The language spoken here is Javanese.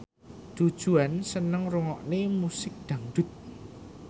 Du Juan seneng ngrungokne musik dangdut